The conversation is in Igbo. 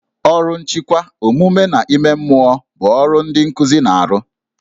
Ọrụ nchịkwa, omume na ime mmụọ bụ ọrụ ndị nkuzi na-arụ